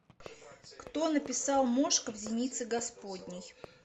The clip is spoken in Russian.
кто написал мошка в зенице господней